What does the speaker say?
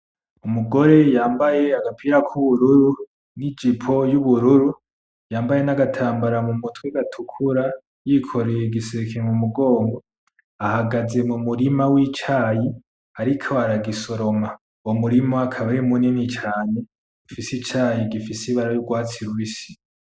Umugore yambaye agapira k'ubururu nijipo y'ubururu yambaye n'agatambara mumutwe gatukura yikoreye igiseke mumugongo ahagaze mumurima wicayi ariko aragisoroma uwo murima akaba ari munini cane ufise icayi gifise ibara yurwatsi rubisi .